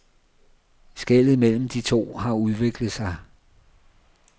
Skellet mellem de to har udviklet sig.